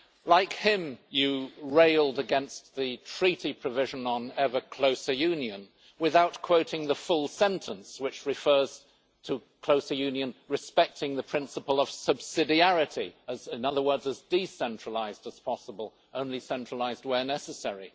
Like him, you, Prime Minister, railed against the treaty provision on ever closer union without quoting the full sentence, which refers to closer union respecting the principle of subsidiarity in other words, as decentralised as possible and only centralised where necessary.